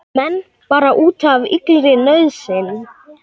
Menn bara úti af illri nauðsyn